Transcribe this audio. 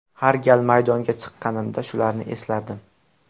Har gal maydonga chiqqanimda shularni eslardim.